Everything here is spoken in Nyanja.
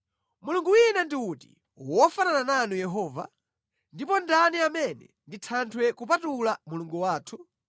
Mulungu wina ndi uti wofanana nanu Yehova? Ndipo ndani amene ndi Thanthwe kupatula Mulungu wathu?